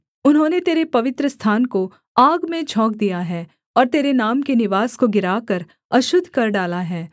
उन्होंने तेरे पवित्रस्थान को आग में झोंक दिया है और तेरे नाम के निवास को गिराकर अशुद्ध कर डाला है